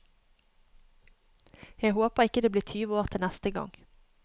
Jeg håper ikke det blir tyve år til neste gang.